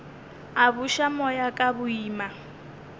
a buša moya ka boima